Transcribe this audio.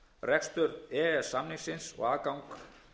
rekstur e e s samningsins og aðgang